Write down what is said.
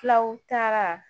Fulaw taara